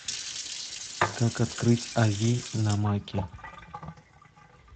как открыть ави на маке